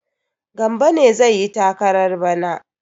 Gambo ne zai yi takarar bana?